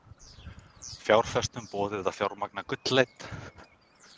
Fjárfestum boðið að fjármagna gullleit